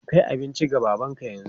Kai abinci ga babanka yanzu!